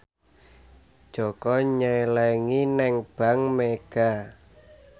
Jaka nyelengi nang bank mega